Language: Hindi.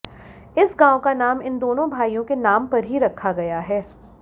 इस गाँव का नाम इन दोनों भाइयों के नाम पर ही रखा गया है